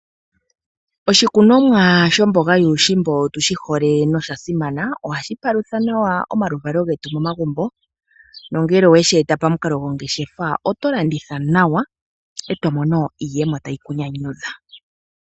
Oshikunomwa sho mboga yuushimba otushi hole noshasimana. Ohashi palutha nawa omaluvalo getu momagumbo, nongele oweshi eta pamukalo gongeshefa, oto landitha nawa iiyemo tayi ku nyanyudha.